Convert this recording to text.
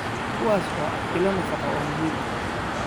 kuwaas oo ah ilo nafaqo oo muhiim ah.